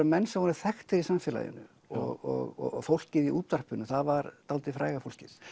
menn sem voru þekktir í samfélaginu og fólkið í útvarpinu það var dálítið fræga fólkið